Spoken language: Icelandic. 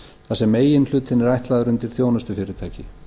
þar sem meginhlutinn er ætlaður undir þjónustufyrirtæki